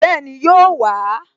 Bẹ́ẹ̀ni, yóò wà á